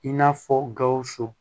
I n'a fɔ gawusu